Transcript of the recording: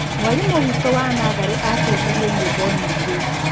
Mwarimũ witũ wa natharĩ atuonirie nyĩmbo nyingĩ.